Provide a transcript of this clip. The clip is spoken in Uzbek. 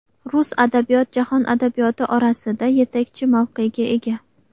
Rus adabiyot jahon adabiyoti orasida yetakchi mavqega ega.